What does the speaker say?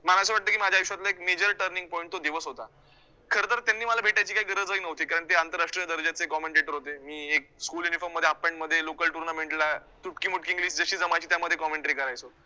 मला असं वाटतं की माझ्या आयुष्यातला एक major turning point तो दिवस होता, खरं तर त्यांनी मला भेटायची काही गरजही नव्हती, कारण ते आंतरराष्ट्रीय दर्जाचे commentator होते, मी एक school uniform मध्ये half pant मध्ये local tounament ला तुटकीमुटकी english जशी जमायची त्यामध्ये commentary करायचो.